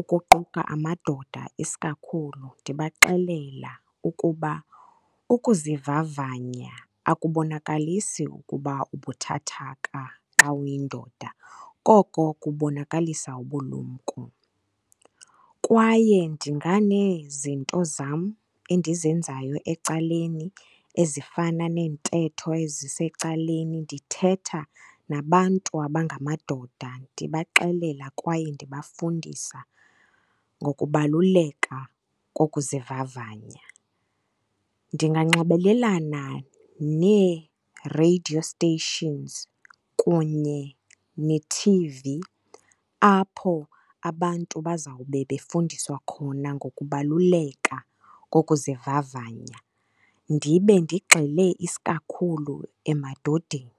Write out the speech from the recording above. ukuquka amadoda isikakhulu, ndibaxelela ukuba ukuzivavanya akubonakalisi ukuba ubuthathaka xa uyindoda. koko kubonakalisa ubulumko. Kwaye ndinganezinto zam endizenzayo ecaleni ezifana neentetho ezisecaleni ndithetha nabantu abangamadoda, ndibaxelela kwaye ndibafundisa ngokubaluleka kokuzivavanya. Ndinganxibelelana nee-radio stations kunye ne-T_V apho abantu bazawube befundiswa khona ngokubaluleka kokuzivavanya ndibe ndigxile isikakhulu emadodeni.